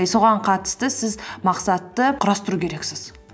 и соған қатысты сіз мақсатты құрастыру керексіз